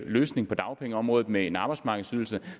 løsning på dagpengeområdet med en arbejdsmarkedsydelse